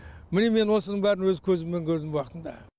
міне мен осының бәрін өз көзімен көрдім уақытында